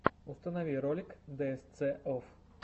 установи ролик дээсце офф